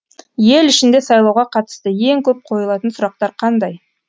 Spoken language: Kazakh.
ел ішінде сайлауға қатысты ең көп қойылатын сұрақтар қандай